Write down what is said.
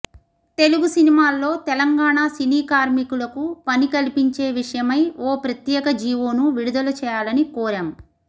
తెలుగు సినిమాల్లో తెలంగాణ సినీ కార్మికులకు పని కల్పించే విషయమై ఓ ప్రత్యేక జీవోను విడుదల చేయాలని కోరాం